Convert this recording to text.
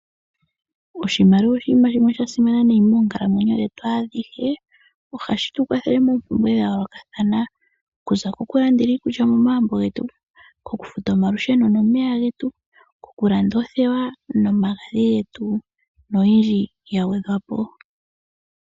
Oshimaliwa oshinima shimwe sha simana nayi moonkalamwenyo dhetu adhihe, ohashi tu kwathele moompumbwe dha yoolokathana okuza koku landela iikulya momagumbo koku futa omalusheno nomeya getu, koku landa oothewa nomagadhi getu noyindji ya gwedhwapo.